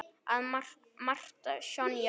Marta Sonja.